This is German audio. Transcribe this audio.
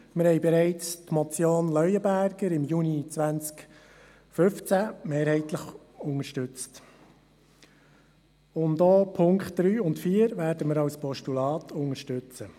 Im Juni 2015 unterstützten wir bereits die Motion Leuenberger mehrheitlich, und wir werden auch die Ziffern 3 und 4 als Postulat unterstützen.